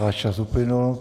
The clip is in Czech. Váš čas uplynul.